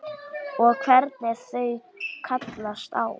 Og hvernig þau kallast á.